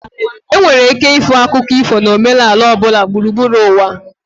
Enwere ike ịhụ akụkọ ifo na omenala ọ bụla gburugburu ụwa.